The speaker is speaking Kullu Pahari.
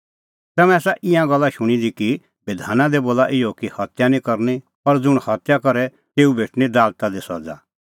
तम्हैं आसा ईंयां गल्ला शूणीं दी कि बधाना दी बोला इहअ कि हत्या निं करनी और ज़ुंण हत्या करे तेऊ भेटणीं दालता दी सज़ा